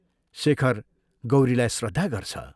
शेखर गौरीलाई श्रद्धा गर्छ।